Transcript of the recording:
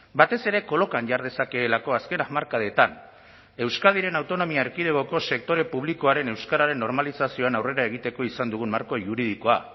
batez ere kolokan jar dezakeelako azken hamarkadetan euskadiren autonomia erkidegoko sektore publikoaren euskararen normalizazioan aurrera egiteko izan dugun marko juridikoa